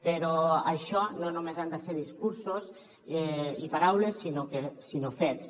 però això no només han de ser discursos i paraules sinó fets